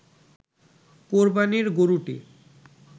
কোরবানীর গরুটি